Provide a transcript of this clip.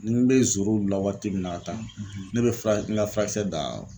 Ni n bɛ la waati min na ka taa, , ne bɛ fura n ka furakisɛ dan